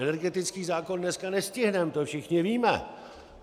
Energetický zákon dneska nestihneme, to všichni víme.